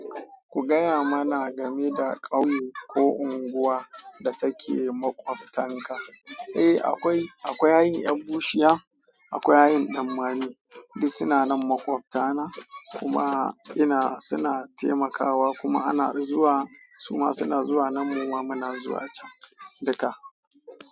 Ku gaya mana game da ƙauye ko unguwa da take makwabtaka. Eh, akwai, akwai hayin ƴan bushiya, akwai hayin ƴan danmani duk suna nan makwabtana kuma ina suna taimakawa kuma ana zuwa suma suna zuwa nan muma muna zuwa can duka.